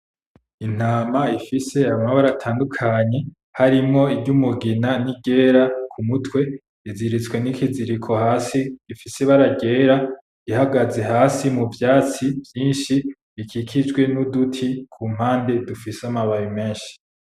Intama ifise amabara atandukanye harimwo ijyumugina n'iryera kumutwe iziritswe nikiziriko hasi gifise ibara ryera ihagaze hasi muvyatsi vyinshi bikikijwe nuduti kumpande dufise amababi menshi.